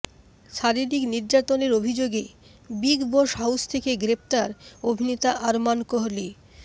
শারীরিক নির্যাতনের অভিযোগে বিগ বস হাউস থেকে গ্রেফতার অভিনেতা আরমান কোহলি